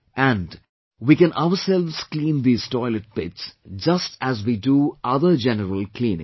And, we can ourselves clean these toilet pits just as we do other general cleaning